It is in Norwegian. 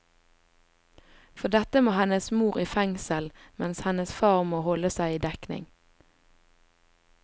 For dette må hennes mor i fengsel, mens hennes far må holde seg i dekning.